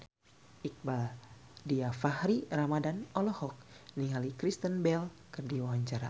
Iqbaal Dhiafakhri Ramadhan olohok ningali Kristen Bell keur diwawancara